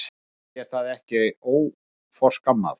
Finnst þér það ekki óforskammað?